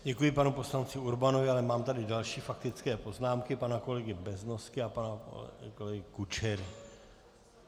Děkuji panu poslanci Urbanovi, ale mám tady další faktické poznámky, pana kolegy Beznosky a pana kolegy Kučery.